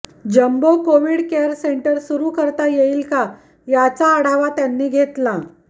jumbo Covid care centre सुरु करता येईल का याचा आढावा त्यांनी घेतला